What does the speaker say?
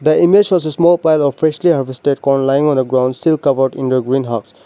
the image shows a small pile of freshly harvested corn laying on a ground still covered in the green house.